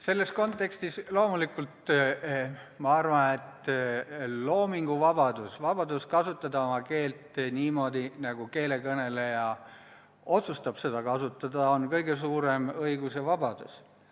Selles kontekstis loomulikult ma arvan, et loominguvabadus, vabadus kasutada oma keelt niimoodi, nagu keele kõneleja otsustab seda kasutada, on kõige suurem õigus ja vabadus.